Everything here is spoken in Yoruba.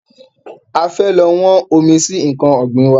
A fẹ́ lọ wọ́n omi sí nkan ọ̀gbìn wa